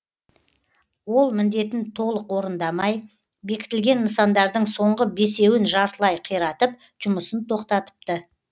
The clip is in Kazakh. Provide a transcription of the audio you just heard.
ол міндетін толық орындамай бекітілген нысандардың соңғы бесеуін жартылай қиратып жұмысын тоқтатыпты